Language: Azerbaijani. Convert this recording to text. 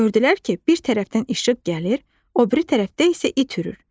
Gördülər ki, bir tərəfdən işıq gəlir, o biri tərəfdə isə it hürür.